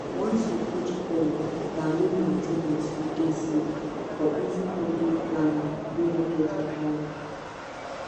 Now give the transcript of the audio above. once you put coil na low main ten ance u dey so for easy family planning wey no get wahala